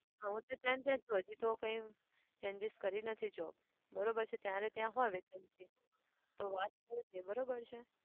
હા હું તો ત્યાં ને ત્યાં જ છું. હજુ તો કઈ changes કરી નથી job. બરાબર છે? તારે ત્યાં હોય vacancy તો વાત કરજે. બરાબર છે?